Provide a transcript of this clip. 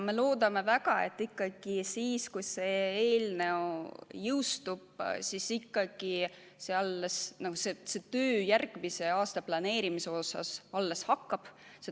Me loodame väga, et kui see eelnõu seadusena jõustub, siis töö järgmise aasta planeerimisel alles hakkab.